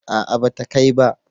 a'a ba ta kai ba